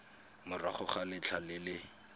morago ga letlha le le